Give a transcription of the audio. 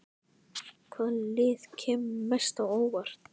Hvaða lið kemur mest á óvart?